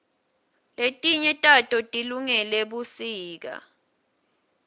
letinye tato tilungele busika